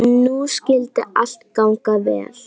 Nú skyldi allt ganga vel.